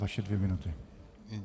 Vaše dvě minuty.